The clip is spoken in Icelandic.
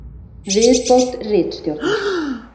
Viðbót ritstjórnar: